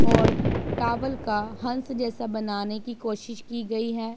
और टॉवल का हंस जैसा बनाने की कोशिश की गई हैं।